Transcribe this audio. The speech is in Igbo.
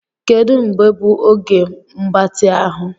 Kedu mgbe bụ oge mgbatị ahụ.